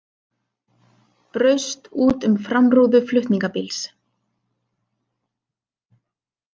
Braust út um framrúðu flutningabíls